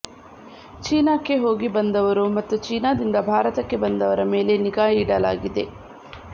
ಚೀನಾಕ್ಕೆ ಹೋಗಿ ಬಂದವರು ಮತ್ತು ಚೀನಾದಿಂದ ಭಾರತಕ್ಕೆ ಬಂದವರ ಮೇಲೆ ನಿಗಾ ಇಡಲಾಗಿದೆ